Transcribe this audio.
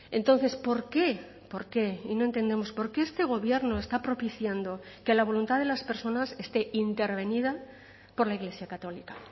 entonces por qué por qué y no entendemos por qué este gobierno está propiciando que la voluntad de las personas esté intervenida por la iglesia católica